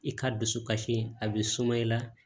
I ka dusu kasi a bɛ suma i la